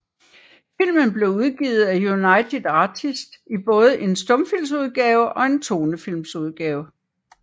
Filmen blev udgivet af United Artists i både en stumfilmsudgave og en tonefilmudgave